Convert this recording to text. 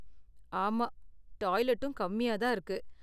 ஆமா, டாய்லெட்டும் கம்மியா தான் இருக்கு.